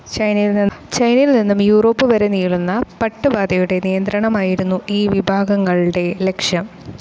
ചൈനയിൽ നിന്നും യുറോപ്പ് വരെ നീളുന്ന പട്ടുപാതയുടെ നിയന്ത്രണമായിരുന്നു ഈ വിഭാഗങ്ങളുടെ ലക്ഷ്യം.